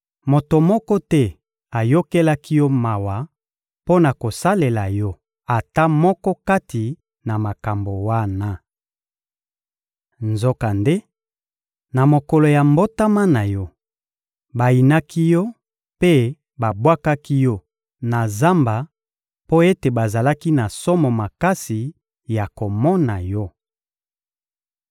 Moto moko te ayokelaki yo mawa mpo na kosalela yo ata moko kati na makambo wana. Nzokande, na mokolo ya mbotama na yo, bayinaki yo mpe babwakaki yo na zamba mpo ete bazalaki na somo makasi ya komona yo.